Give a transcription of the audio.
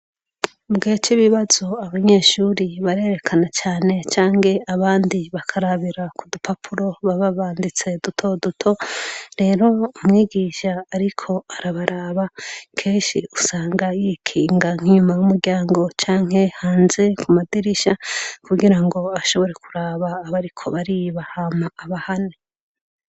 Ubwhe co ibibazo abanyeshuri barerekana cane canke abandi bakarabira ku dupapuro bababanditse dutoduto rero umwigisha, ariko arabaraba keshi usanga yikinga nk'inyuma y'umuryango canke hanze ku madirisha kugira ngo ashobore kuraba abariko baribahama aba hane.